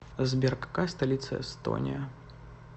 сбер какая столица эстония